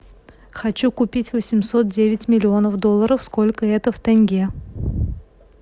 хочу купить восемьсот девять миллионов долларов сколько это в тенге